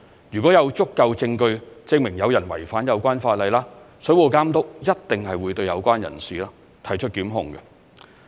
如果有足夠證據證明有人違反有關法例，水務監督一定會對有關人士提出檢控。